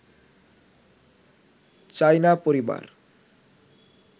চায় না পরিবার